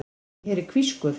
Ég heyri hvískur.